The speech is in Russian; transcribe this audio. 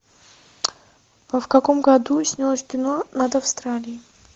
в каком году снялось кино над австралией